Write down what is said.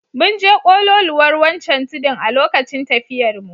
Mun je kololuwar wancan tudun a lokacin tafiyarmu.